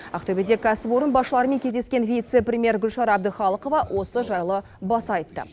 ақтөбеде кәсіпорын басшыларымен кездескен вице премьер гүлшара әбдіқалықова осы жайлы баса айтты